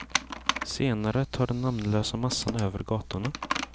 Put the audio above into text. Senare tar den namnlösa massan över gatorna.